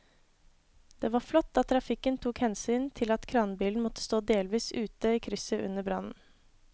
Det var flott at trafikken tok hensyn til at kranbilen måtte stå delvis ute i krysset under brannen.